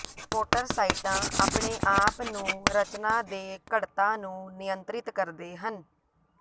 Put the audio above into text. ਮੋਟਰਸਾਈਟਾਂ ਆਪਣੇ ਆਪ ਨੂੰ ਰਚਨਾ ਦੇ ਘਣਤਾ ਨੂੰ ਨਿਯੰਤ੍ਰਿਤ ਕਰਦੇ ਹਨ